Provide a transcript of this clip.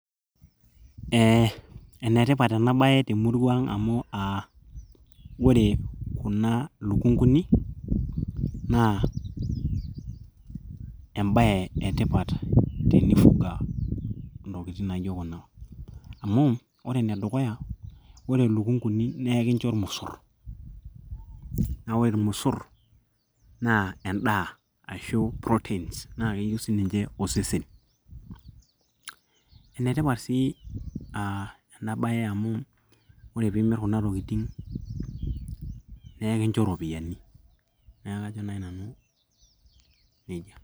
eh, enetipat ena baye temurua ang amu uh, ore kuna lukunguni naa embaye etipat tenifuga intokitin naijo kuna amu ore enedukuya ore ilukunguni naa ekincho irmosorr naa wore irmosorr naa endaa ashu proteins naa keyieu sininche osesen enetipat sii uh enabaye amu ore piimirr kuna tokiting neekincho iropiyiani naaku kajo naaji nanu nejia.